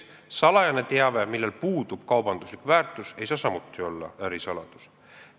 Salajane teave, millel puudub kaubanduslik väärtus, ei saa samuti olla ärisaladus.